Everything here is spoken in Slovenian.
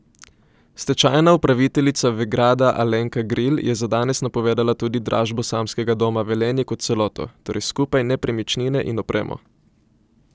Stečajna upraviteljica Vegrada Alenka Gril je za danes napovedala tudi dražbo samskega doma Velenje kot celoto, torej skupaj nepremičnine in opremo.